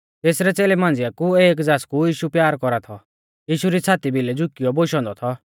तेसरै च़ेलै मांझ़िआ कु एक ज़ासकु यीशु प्यार कौरा थौ यीशु री छ़ाती भिलै झुकियौ थौ बोशौ औन्दौ